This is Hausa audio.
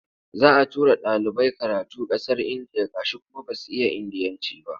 Za a tura ɗalibai karatu ƙasar Indiya gashi kuma ba su iya Indiyanci ba.